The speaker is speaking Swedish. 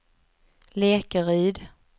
Lekeryd